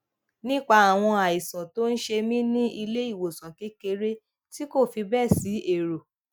nípa àwọn àìsàn tó ń ṣe mí ní iléìwòsàn kekere ti kò fi béè si ero